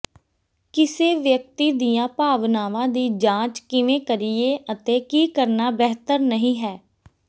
ਕਿਸੇ ਵਿਅਕਤੀ ਦੀਆਂ ਭਾਵਨਾਵਾਂ ਦੀ ਜਾਂਚ ਕਿਵੇਂ ਕਰੀਏ ਅਤੇ ਕੀ ਕਰਨਾ ਬਿਹਤਰ ਨਹੀਂ ਹੈ